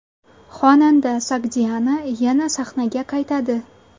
Xonanda Sogdiana yana sahnaga qaytadi.